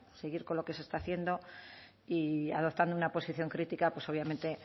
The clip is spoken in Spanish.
seguir con lo que se está haciendo y adoptando una posición crítica pues obviamente